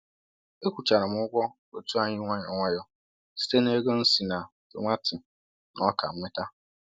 Ekwụchara m ụgwọ otu anyị nwayọ nwayọ site na ego m si na tomati na oka nweta.